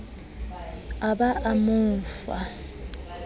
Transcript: a ba a mo fa